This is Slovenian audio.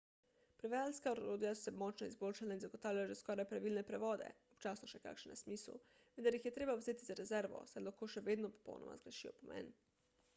prevajalska orodja so se močno izboljšala in zagotavljajo že skoraj pravilne prevode občasno še kakšen nesmisel vendar jih je treba vzeti z rezervo saj lahko še vedno popolnoma zgrešijo pomen